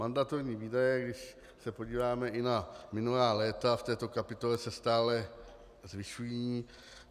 Mandatorní výdaje, když se podíváme i na minulá léta v této kapitole, se stále zvyšují.